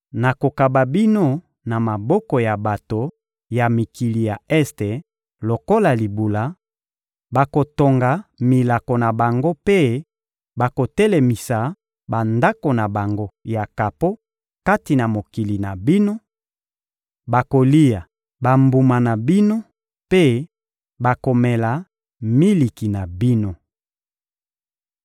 nakokaba bino na maboko ya bato ya mikili ya este lokola libula, bakotonga milako na bango mpe bakotelemisa bandako na bango ya kapo kati na mokili na bino; bakolia bambuma na bino mpe bakomela miliki na bino.